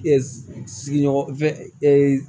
sigiɲɔgɔn fɛn